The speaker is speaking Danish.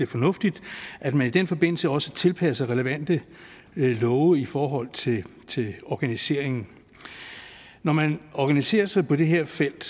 fornuftigt at man i den forbindelse også tilpasser relevante love i forhold til organiseringen når man organiserer sig på det her felt